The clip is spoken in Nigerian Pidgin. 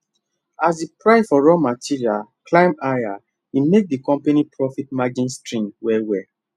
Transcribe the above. as the price for raw materials climb higher e make the company profit margin shrink well well